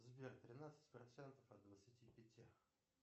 сбер тринадцать процентов от двадцати пяти